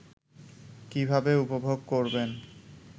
কীভাবে উপভোগ করবেন